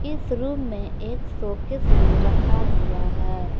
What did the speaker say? इस रूम में एक शोकेस भी रखा हुआ है।